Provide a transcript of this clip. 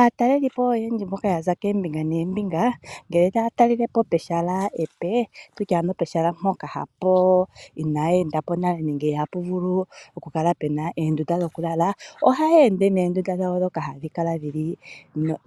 Aatalelipo oyendji mboka yaza koombinga noombinga ngele taya talelepo pehala epe, tutye ano pehala mpo eyapo inaa endapo nale nenge ihapu vulu oku kala puna oondunda dhokulala. Ohaya ende noondunda dhawo dhoka hadhi kala dhili